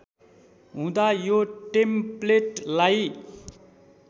हुँदा यो टेम्प्लेटलाई